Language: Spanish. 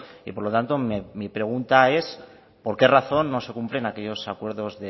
y por lo tanto mi pregunta es por qué razón no se cumplen aquellos acuerdos